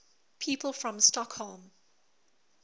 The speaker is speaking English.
people from stockholm